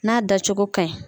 N'a dacogo ka ɲi.